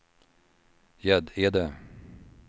Gäddede